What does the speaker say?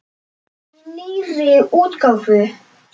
Í nýrri útgáfu!